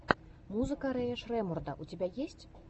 музыка рэя шреммурда у тебя есть